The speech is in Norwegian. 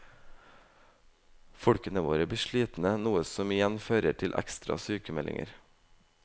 Folkene våre blir slitne, noe som igjen fører til ekstra sykmeldinger.